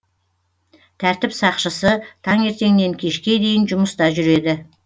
тәртіп сақшысы таңертеңнен кешке дейін жұмыста жүреді